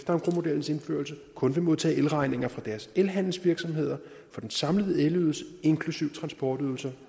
engrosmodellens indførelse kun vil modtage beregninger fra deres elhandelsvirksomheder for den samlede elydelse inklusive transportydelser